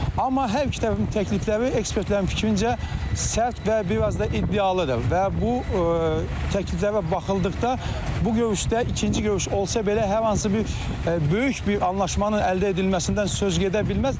Amma hər iki tərəfin təklifləri ekspertlərin fikrincə, sərt və biraz da iddialıdır və bu təkliflərə baxıldıqda bu görüşdə ikinci görüş olsa belə hər hansı bir böyük bir anlaşmanın əldə edilməsindən söz gedə bilməz.